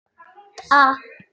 Við göngum